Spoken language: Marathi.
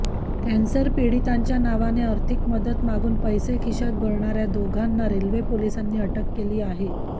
कॅन्सर पीडितांच्या नावाने आर्थिक मदत मागून पैसे खिशात भरणाऱ्या दोघांना रेल्वे पोलिसांनी अटक केली आहे